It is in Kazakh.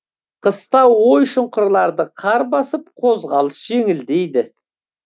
қыста ой шұқырларды қар басып қозғалыс жеңілдейді